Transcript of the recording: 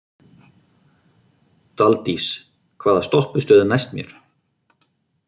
Daldís, hvaða stoppistöð er næst mér?